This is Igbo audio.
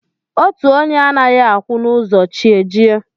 Otu onye anaghị akwụ n'ụzọ chi ejie